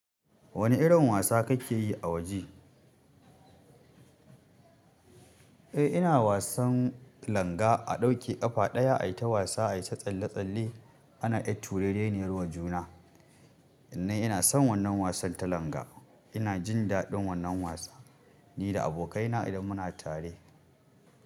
Wane irin wasa kake yi a waje? Eh, ina wasan langa. A ɗauke ƙafa ɗaya, a yi ta wasa, a yi ta tsalle-tsalle. Ana ƴar turereniyar wa juna. Ni ina son wannan wasan ta langa ina jin daɗin wannan wasa, nida abokaina idan muna tare.